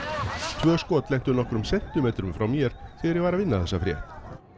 tvö skot lentu nokkrum sentimetrum frá mér þegar ég var að vinna þessa frétt